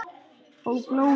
Og blóði.